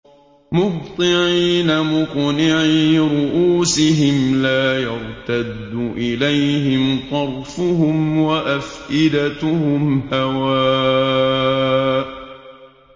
مُهْطِعِينَ مُقْنِعِي رُءُوسِهِمْ لَا يَرْتَدُّ إِلَيْهِمْ طَرْفُهُمْ ۖ وَأَفْئِدَتُهُمْ هَوَاءٌ